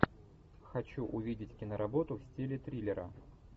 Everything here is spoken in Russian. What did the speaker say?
хочу увидеть киноработу в стиле триллера